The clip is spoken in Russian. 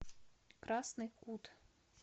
красный кут